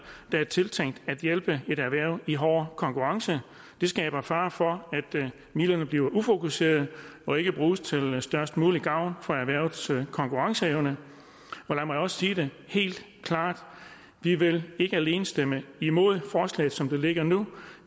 der er tiltænkt at hjælpe et erhverv i hård konkurrence det skaber fare for at midlerne bliver tildelt ufokuseret og ikke bruges til størst mulig gavn for erhvervets konkurrenceevne lad mig også sige det helt klart vi vil ikke alene stemme imod forslaget som det ligger nu